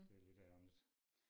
Det lidt ærgerligt